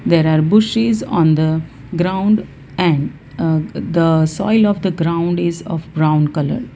there are bushes on the ground and uh the soil of the ground is of brown colour.